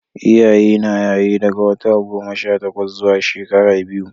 Iyaye na yaye daga wata goma Sha takwas zuwa shekara biyu